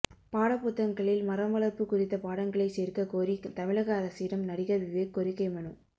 பாடப்புத்தகங்களில் மரம் வளர்ப்பு குறித்த பாடங்களை சேர்க்க கோரி தமிழக அரசிடம் நடிகர் விவேக் கோரிக்கை மனு